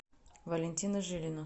валентина жилина